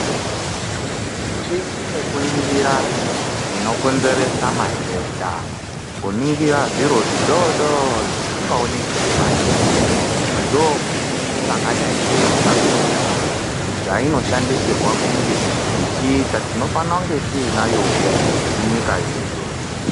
Mishini yokuningira zvinokonzeresa matenda, kuningira zviro zvodoo dori zvisingaoneki ngemadziso, ndoo mishini yakadsi neiri papikicha apo zvainofanirwa kunge ichiita tinofana kunge tinayo woo munyika yedu.